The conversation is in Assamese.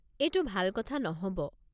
এইটো ভাল কথা নহ'ব।